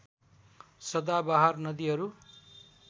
सदाबहार नदीहरू